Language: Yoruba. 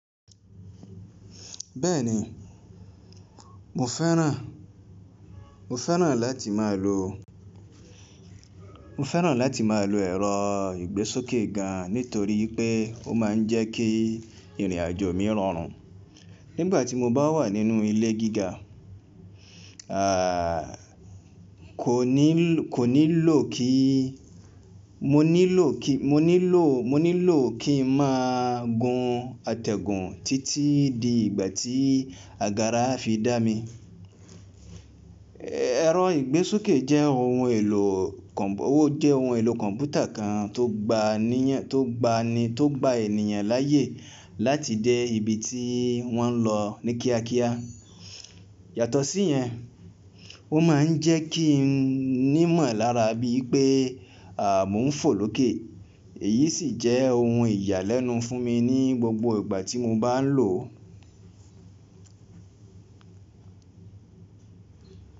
Bẹ́ẹ̀ni, mo fẹ́ràn, mo fẹ́ràn láti máa lo, mo fẹ́ràn láti máa lo ẹ̀rọ ìgbésókè gan nítorí pé ó máa ń jẹ́ kí ìrìnàjò mi rọrùn. Nígbà tí mo bá wà nínú ilé gíga, à kò ní lò kí, mo nílò kí, mo nílò, mo nílò kí ń máa gun àtẹ̀gùn títí di ìgbà tí àgárá fi dá mi. Ẹ̀rọ ìgbésókè jẹ́ ohun èlò kọ̀, ó jẹ́ ohun èlò kọ̀mpútà kan tó gba níyan, tó gba ni, tó gba ènìyàn láyè láti dé ibi tí wọ́n ń lọ ní kíákíá. Yàtọ̀ sí yẹn, ó ma ń jẹ́ kí n nímọ̀lára bí i pé mo ń fò lókè, èyí sì jẹ́ ohun ìyàlẹ́nu fún mi ní gbogbo ìgbà tí mo bá ń lò ó.